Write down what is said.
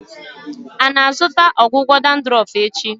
Ị na-azụta ọgwụgwọ dandruff echi?